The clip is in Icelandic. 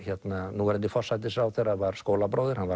núverandi forsætisráðherra var skólabróðir hann